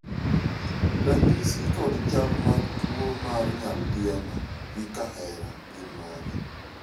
ranyisi kod chal mag tuo mar nyaldiema gi kahera gin mage?